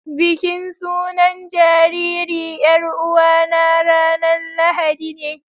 Bikin sunan jariri yar'uwa na ranan lahadine